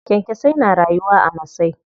Kyankyasai na rayuwa a masai.